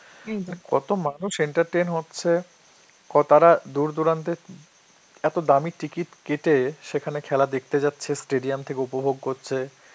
কত মানুষ entertain হচ্ছে, ক~ তারা দূর দূরান্তে এত দামি ticket কেটে খেলা সেখানে দেখতে যাচ্ছে, stadium থেকে উপভোগ করছে,